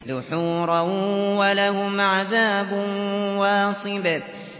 دُحُورًا ۖ وَلَهُمْ عَذَابٌ وَاصِبٌ